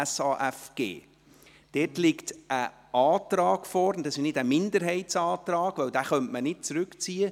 Dort liegt ein entsprechender Antrag vor, und dies ist kein Minderheitsantrag, denn einen solchen könnte man nicht zurückziehen.